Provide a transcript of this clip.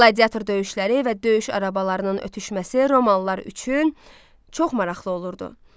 Qladiator döyüşləri və döyüş arabalarının ötüşməsi romalılar üçün çox maraqlı olurdu.